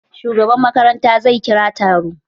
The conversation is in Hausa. Shugaban makaranta zai kira taro.